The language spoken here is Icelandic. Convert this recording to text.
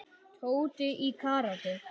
Tóti í karate.